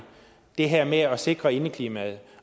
det her med at sikre indeklimaet